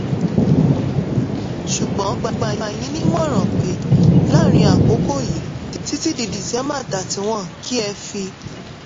ṣùgbọ́n mo gbà yín nímọ̀ràn pé láàárín àkókò yìí títí di december 31 kí ẹ fi